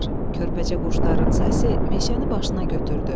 Körpəcə quşların səsi meşəni başına götürdü.